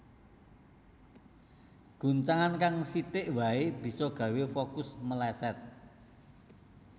Guncangan kang sithik wae bisa gawé fokus meleset